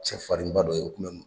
Cɛfarinba dɔ ye, o kun bɛ